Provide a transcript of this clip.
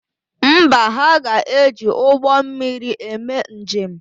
Mba, ha ga-eji ụgbọ mmiri eme njem.